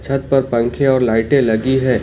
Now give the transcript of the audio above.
छत पर पंखे और लाइटें लगी हैं।